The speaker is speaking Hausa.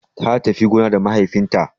Ta tafi gona da mahaifin ta